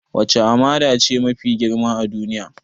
Wacce hamada ce mafi girma a duniya?